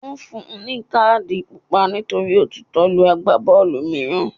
Wọn fún un ní káàdì Pupa nítorí ó tutọ́ lu Àgbábọ́ọ̀lù mìíràn.